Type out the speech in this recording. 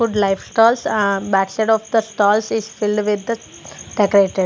food life stalls ahh backside of the stalls is filled with the decorated.